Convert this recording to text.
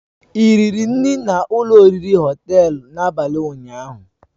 Ị riri nri na ụlọ oriri Họtelu n'abalị ụnyaahụ